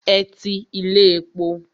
Ẹ ti ilé epo.